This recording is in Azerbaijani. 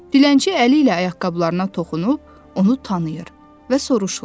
Dilənçi əli ilə ayaqqabılarına toxunub onu tanıyır və soruşur: